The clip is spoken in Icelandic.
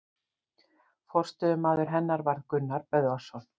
Forstöðumaður hennar varð Gunnar Böðvarsson.